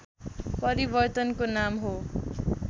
परिवर्तनको नाम हो